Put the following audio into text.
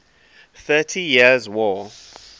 thirty years war